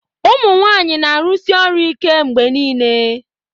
ụmụ nwanyị na-arụsi ọrụ ike mgbe niile